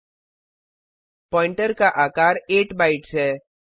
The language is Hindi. पॉइंटर प्वाइंटर का आकार 8 बाइट्स है